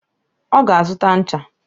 Oga azuta ncha